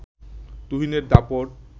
তুহিনের দাপট